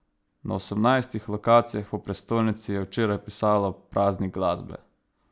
Na osemnajstih lokacijah po prestolnici je včeraj pisalo Praznik Glasbe.